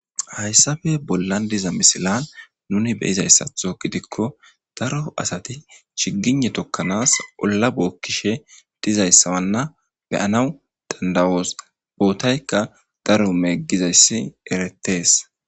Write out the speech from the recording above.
hayssafe bolla diza misilan nuni beyizayssatho gidikko daro asati chigine tokkanaas olla bookkishe dizayssawanna be'anaw dandawoos bootaykka daro meeggizayssi eretees